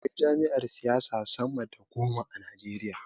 Akwai jam'iyar siyasa sama da goma a najeriya